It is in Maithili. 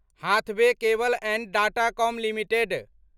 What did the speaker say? Hathaway cable and Datacom limited